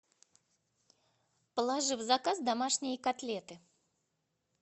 положи в заказ домашние котлеты